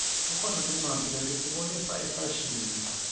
kukhona tincwadzi letisibonisa ifashini